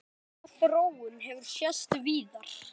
Sama þróun hefur sést víðar.